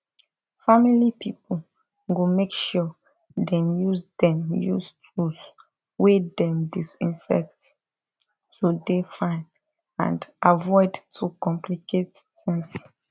family pipo go make sure dem use dem use tools wey dem disinfect to dey fine and avoid to complicate tings